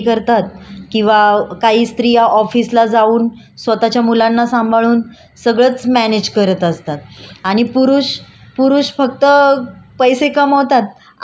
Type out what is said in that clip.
आणि पुरुष पुरुष फक्त पैसे कमवतात आणि घरातल्यांना देतात पण त्यांना घरातलं बाकीचं बघावं नाही लागत स्त्रिया कामाला जरी जात असल्या तरी मॅनेज करतात घरातलं.